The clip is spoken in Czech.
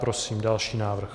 Prosím další návrh.